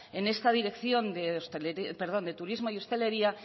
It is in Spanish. en esta dirección de turismo y hostelería